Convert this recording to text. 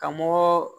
Ka mɔgɔ